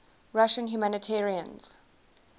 russian humanitarians